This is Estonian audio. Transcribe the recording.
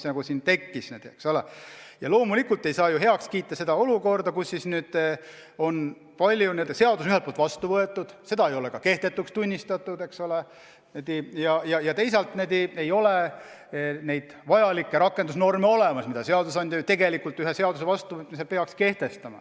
Aga loomulikult ei saa ju heaks kiita olukorda, kus seadus on ühelt poolt vastu võetud, seda ei ole ka kehtetuks tunnistatud, ent teisalt ei ole olemas vajalikke rakendusnorme, mis seadusandja tegelikult ühe seaduse vastuvõtmisel peaks kehtestama.